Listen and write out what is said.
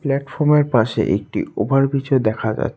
প্ল্যাটফর্মের পাশে একটি ওভারব্রীজও দেখা যা--